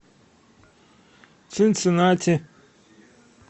цинциннати